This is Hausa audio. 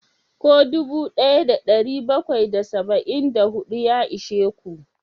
Ko dubu daya da dari bakwai da saba'in da hudu ya ishe ku?